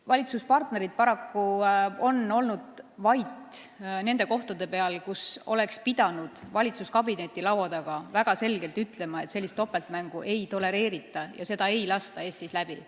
Valitsuspartnerid on paraku olnud vait, kui oleks pidanud valitsuskabineti laua taga väga selgelt ütlema, et sellist topeltmängu ei tolereerita ega lasta Eestis läbi.